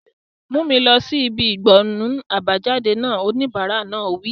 Mú mi lọ sí ibi ìgbọnnu àbájáde náà! Oníbàárà náà wí.